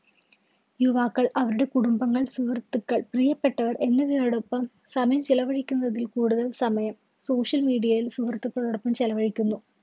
യുവാക്കള്‍ അവരുടെ കുടുംബങ്ങള്‍, സുഹൃത്തുക്കള്‍, പ്രിയപ്പെട്ടവര്‍ എന്നിവരോടൊപ്പം സമയം ചെലവഴിക്കുന്നതില്‍ കൂടുതല്‍ സമയം social media ല്‍ സുഹൃത്തുക്കളോടോപ്പം ചെലവഴിക്കുന്നു.